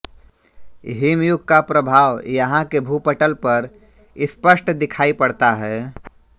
हिमयुग का प्रभाव यहाँ के भूपटल पर स्पष्ट दिखाई पड़ता है